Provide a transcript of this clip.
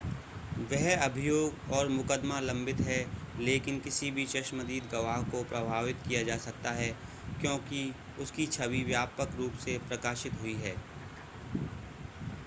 वह अभियोग और मुकदमा लंबित है लेकिन किसी भी चश्मदीद गवाह को प्रभावित किया जा सकता है क्योंकि उसकी छवि व्यापक रूप से प्रकाशित हुई है